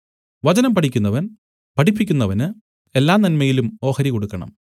വചനം പഠിക്കുന്നവൻ പഠിപ്പിക്കുന്നവന് എല്ലാനന്മയിലും ഓഹരി കൊടുക്കണം